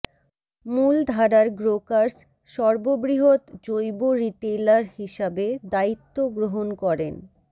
মূলধারার গ্রোকার্স সর্ববৃহৎ জৈব রিটেইলার হিসাবে দায়িত্ব গ্রহণ করেন